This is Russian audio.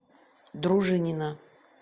дружинина